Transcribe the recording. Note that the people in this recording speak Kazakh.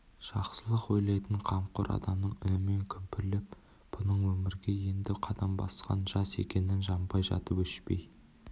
жақсылық ойлайтын қамқор адамның үнімен күмбірлеп бұның өмірге енді қадам басқан жас екенін жанбай жатып өшпей